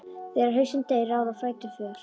Þegar hausinn deyr ráða fætur för.